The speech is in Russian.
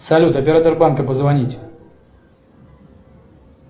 салют оператор банка позвонить